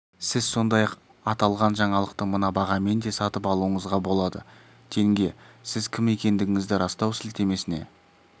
сіз сондай-ақ аталған жаңалықты мына бағамен де сатып алуыңызға болады тенге сіз кім екендігіңізді растау сілтемесіне